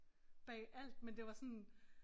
Bag alt men det var sådan